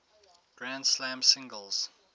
grand slam singles